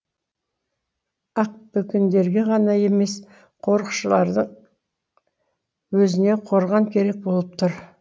ақбөкендерге ғана емес қорықшылардың өзіне қорған керек болып тұр